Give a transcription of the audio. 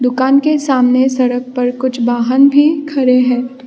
दुकान के सामने सड़क पर कुछ वाहन भी खड़े हैं।